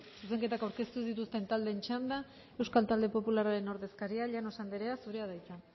zuzenketak aurkeztu ez dituzten taldeen txanda euskal talde popularraren ordezkaria llanos andrea zurea da hitza